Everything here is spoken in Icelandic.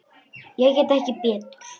Ég get ekki betur.